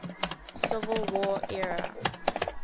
civil war era